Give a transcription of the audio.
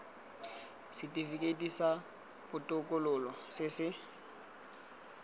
setifikeiti sa botokololo se se